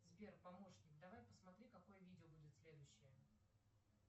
сбер помощник давай посмотри какое видео будет следующее